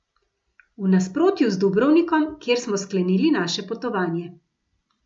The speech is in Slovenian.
V nasprotju z Dubrovnikom, kjer smo sklenili naše potovanje.